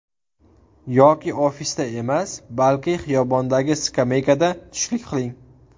Yoki ofisda emas, balki xiyobondagi skameykada tushlik qiling.